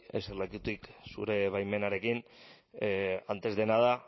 eserlekutik bai eserlekutik zure baimenarekin antes de nada